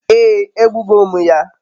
ee, egbugo m ya